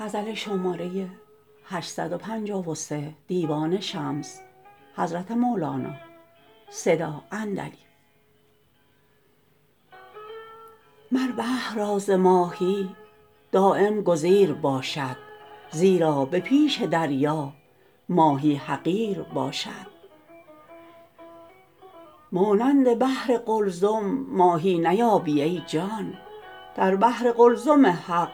مر بحر را ز ماهی دایم گزیر باشد زیرا به پیش دریا ماهی حقیر باشد مانند بحر قلزم ماهی نیابی ای جان در بحر قلزم حق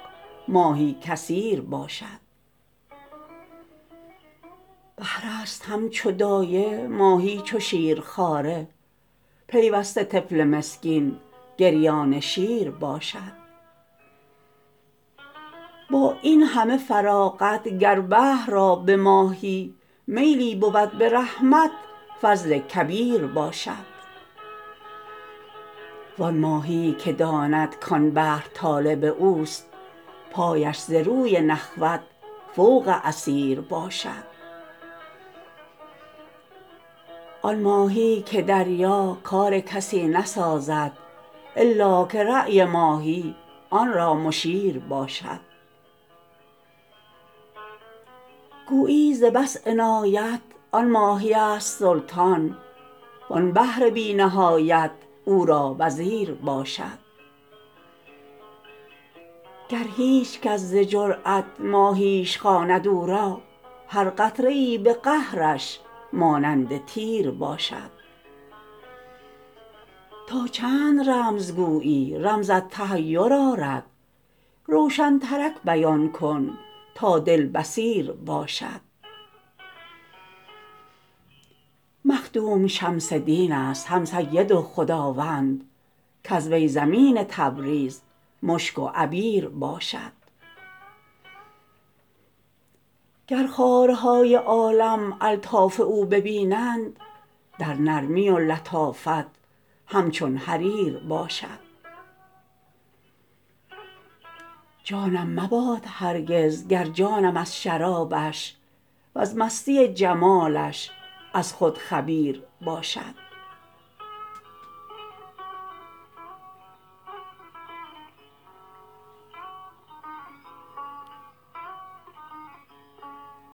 ماهی کثیر باشد بحرست همچو دایه ماهی چو شیرخواره پیوسته طفل مسکین گریان شیر باشد با این همه فراغت گر بحر را به ماهی میلی بود به رحمت فضل کبیر باشد وان ماهیی که داند کان بحر طالب اوست پایش ز روی نخوت فوق اثیر باشد آن ماهیی که دریا کار کسی نسازد الا که رای ماهی آن را مشیر باشد گویی ز بس عنایت آن ماهیست سلطان وان بحر بی نهایت او را وزیر باشد گر هیچ کس ز جرات ماهیش خواند او را هر قطره ای به قهرش مانند تیر باشد تا چند رمز گویی رمزت تحیر آرد روشنترک بیان کن تا دل بصیر باشد مخدوم شمس دینست هم سید و خداوند کز وی زمین تبریز مشک و عبیر باشد گر خارهای عالم الطاف او ببینند در نرمی و لطافت همچون حریر باشد جانم مباد هرگز گر جانم از شرابش وز مستی جمالش از خود خبیر باشد